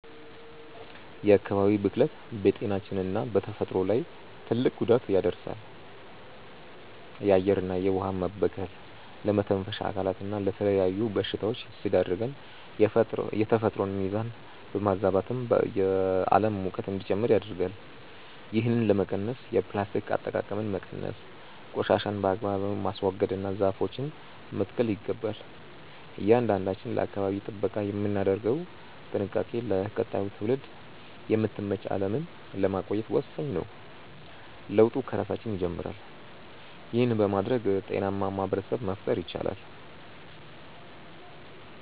የአካባቢ ብክለት በጤናችንና በተፈጥሮ ላይ ትልቅ ጉዳት ያደርሳል። የአየርና የውኃ መበከል ለመተንፈሻ አካላትና ለተለያዩ በሽታዎች ሲዳርገን፣ የተፈጥሮን ሚዛን በማዛባትም የዓለም ሙቀት እንዲጨምር ያደርጋል። ይህንን ለመቀነስ የፕላስቲክ አጠቃቀምን መቀነስ፣ ቆሻሻን በአግባቡ ማስወገድና ዛፎችን መትከል ይገባል። እያንዳንዳችን ለአካባቢ ጥበቃ የምናደርገው ጥንቃቄ ለቀጣዩ ትውልድ የምትመች ዓለምን ለማቆየት ወሳኝ ነው። ለውጡ ከራሳችን ይጀምራል። ይህን በማድረግ ጤናማ ማኅበረሰብ መፍጠር ይቻላል።